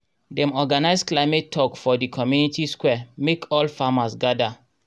dem organise climate tok for di community square mek all farmers gada